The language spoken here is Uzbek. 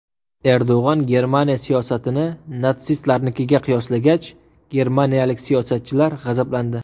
Erdo‘g‘on Germaniya siyosatini natsistlarnikiga qiyoslagach, germaniyalik siyosatchilar g‘azablandi.